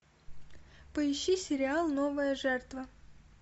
поищи сериал новая жертва